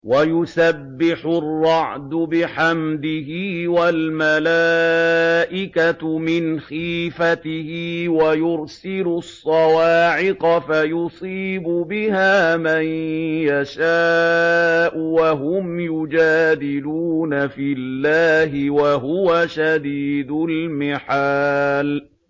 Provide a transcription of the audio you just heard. وَيُسَبِّحُ الرَّعْدُ بِحَمْدِهِ وَالْمَلَائِكَةُ مِنْ خِيفَتِهِ وَيُرْسِلُ الصَّوَاعِقَ فَيُصِيبُ بِهَا مَن يَشَاءُ وَهُمْ يُجَادِلُونَ فِي اللَّهِ وَهُوَ شَدِيدُ الْمِحَالِ